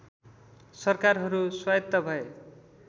सरकारहरू स्वायत्त भए